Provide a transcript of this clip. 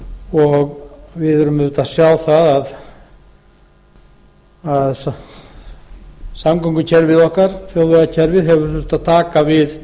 og við erum auðvitað að sjá það að samgöngukerfið þjóðvegakerfið hefur þurft að taka við